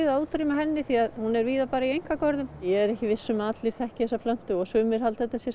að útrýma henni því hún er víða bara í einkagörðum ég er ekki viss um að allir þekki þessa plöntu og sumir halda að þetta